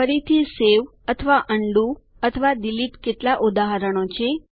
ફરીથી સવે અથવા ઉંડો અથવા ડિલીટ કેટલાક ઉદાહરણો છે